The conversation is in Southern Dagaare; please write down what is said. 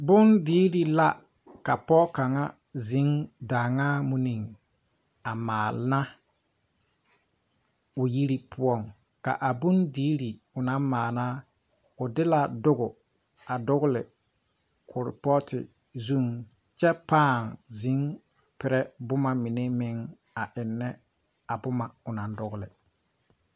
Bondirre la ka poge kaŋa zeŋ daaŋaa munniŋ a maana o yiri poɔŋ a bondire onaŋ maana o de la doge a dogle kuripoote zuŋ kyɛ paa zeŋ perrɛ boma mine meŋ a ennɛ a bomma o naŋ dogle.